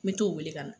Me t'o wele ka na